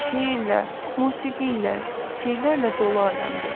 Şeirlə, musiqi ilə, sirrlərlə dolu aləmdir.